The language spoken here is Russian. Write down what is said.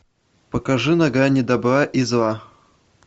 покажи на грани добра и зла